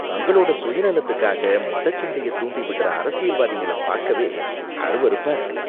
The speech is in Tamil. தங்களோட சுயநலத்துக்காக மதச்சண்டையை தூண்டிவிடுற அரசியல்வாதிங்கள பாக்கவே அருவருப்பா இருக்கு.